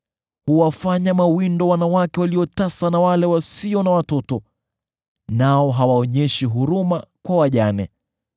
Huwafanya mawindo wanawake tasa na wasio na watoto, nao hawaonyeshi huruma kwa wajane.